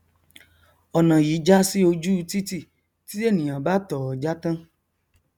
ọnà yìí já sí oju u titi tí ènìà bá tọọ já tán